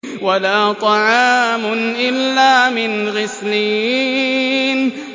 وَلَا طَعَامٌ إِلَّا مِنْ غِسْلِينٍ